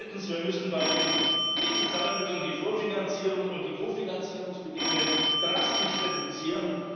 Drittens Wir müssen bei den EU Fördermitteln die Vorfinanzierung und die Kofinanzierungsbedingungen drastisch reduzieren.